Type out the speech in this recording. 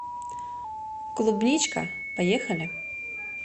клубничка поехали